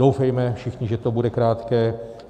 Doufejme všichni, že to bude krátké.